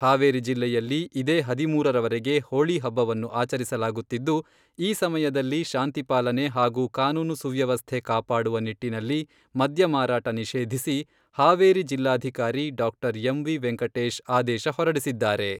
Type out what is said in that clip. ಹಾವೇರಿ ಜಿಲ್ಲೆಯಲ್ಲಿ ಇದೇ ಹದಿಮೂರರವರೆಗೆ ಹೋಳಿ ಹಬ್ಬವನ್ನು ಆಚರಿಸಲಾಗುತ್ತಿದ್ದು, ಈ ಸಮಯದಲ್ಲಿ ಶಾಂತಿ ಪಾಲನೆ ಹಾಗೂ ಕಾನೂನು ಸುವ್ಯವಸ್ಥೆ ಕಾಪಾಡುವ ನಿಟ್ಟಿನಲ್ಲಿ ಮದ್ಯ ಮಾರಾಟ ನಿಷೇಧಿಸಿ ಹಾವೇರಿ ಜಿಲ್ಲಾಧಿಕಾರಿ ಡಾಕ್ಟರ್ ಎಂವಿ ವೆಂಕಟೇಶ್ ಆದೇಶ ಹೊರಡಿಸಿದ್ದಾರೆ.